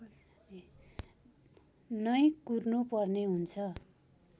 नै कुर्नुपर्ने हुन्छ